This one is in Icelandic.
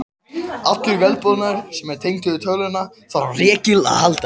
Allur vélbúnaður sem er tengdur við tölvuna þarf á rekli að halda.